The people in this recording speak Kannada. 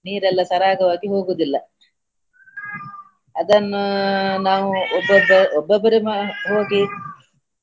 ನೀರೆಲ್ಲಾ ಸರಾಗವಾಗಿ ಹೋಗುದಿಲ್ಲ ಅದನ್ನು ನಾವು ಒಬ್ಬೊಬ್ಬ ಒಬ್ಬೊಬ್ಬರೆ ಮಾ~ ಹೋಗಿ.